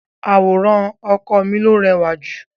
Àwòrán ọkọ mi ló rẹ́wà jù.